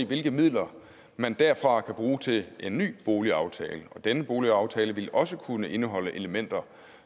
hvilke midler man derfra kan bruge til en ny boligaftale denne boligaftale vil også kunne indeholde elementer